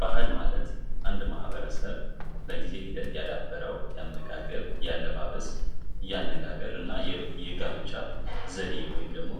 ባህል ማለት አንድ ማህበረሰብ በጊዜ ሂደት ያዳበረው ያመጋገብ ያለባበስና ያነጋገርና የጋብቻ ዘዴ ወይም ደግሞ